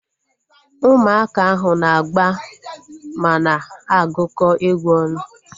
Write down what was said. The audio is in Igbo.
Ụmụaka ahu na-agba mana agukọ egwu ọnụ